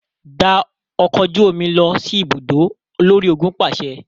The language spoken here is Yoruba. Gba ọkọ oju omi lọ si ibudo, olori-ogun paṣẹ!